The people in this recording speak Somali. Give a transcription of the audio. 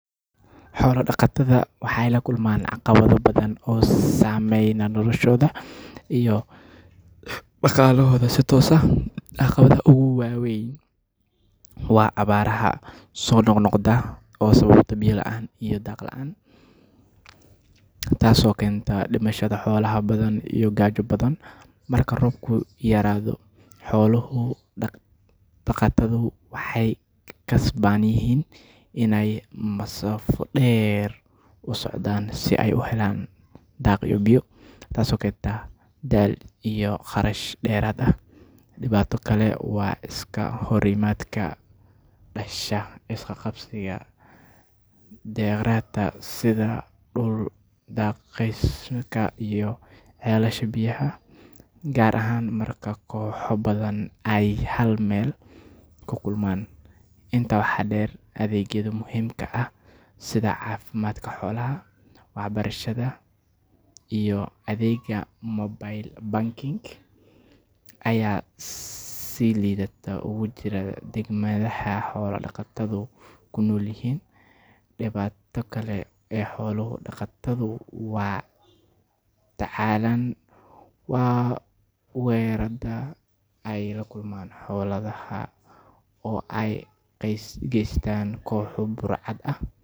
Xoolo-dhaqatada waxay la kulmaan caqabado badan oo saameeya noloshooda iyo dhaqaalahooda si toos ah. Caqabadda ugu weyn waa abaaraha soo noqnoqda oo sababa biyo la’aan iyo daaq la’aan, taasoo keenta dhimashada xoolaha badan iyo gaajo ba’an. Marka roobku yaraado, xoolo-dhaqatadu waxay khasban yihiin inay masaafo dheer u socdaan si ay u helaan daaq iyo biyo, taasoo keenta daal iyo kharash dheeraad ah. Dhibaato kale waa iska horimaadka ka dhasha is qabsiga kheyraadka sida dhul daaqsimeedka iyo ceelasha biyaha, gaar ahaan marka kooxo badan ay hal meel ku kulmaan. Intaa waxaa dheer, adeegyada muhiimka ah sida caafimaadka xoolaha, waxbarashada, iyo adeegga mobile banking ayaa si liidata uga jira deegaannada xoolo-dhaqatadu ku nool yihiin. Dhibaatada kale ee xoolo-dhaqatadu la tacaalaan waa weerarrada ay la kulmaan xoolahooda oo ay u geystaan kooxo burcad ah.